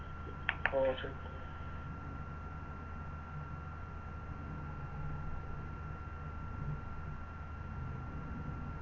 Okay